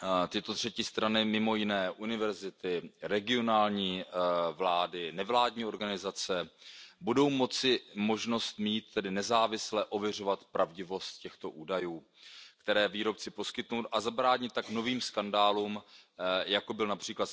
Tyto třetí strany, mimo jiné univerzity, regionální vlády, nevládní organizace, budou tedy mít možnost nezávisle ověřovat pravdivost těchto údajů, které výrobci poskytnou, a zabránit tak novým skandálům, jako byl např.